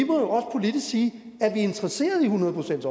interesseret i hundrede procents